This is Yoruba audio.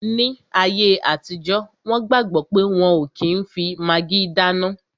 Ní ayé àtijọ́, wọn gbàgbọ̀ pé wọ́n ò kí n fi magí dáná